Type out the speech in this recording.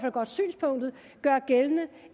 godt synspunktet